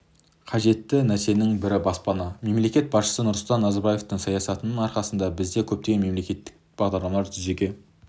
қажетті нәрсенің бірі баспана мемлекет басшысы нұрсұлтан назарбаевтың саясатының арқасында бізде көптеген мемлекттік бағдарламалар жүзеге